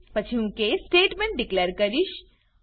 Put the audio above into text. પછી હું case statement declare કરીશ